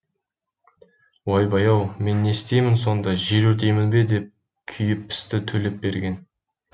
ойбай ау мен не істеймін сонда жер өртеймін бе деп күйіп пісті төлепберген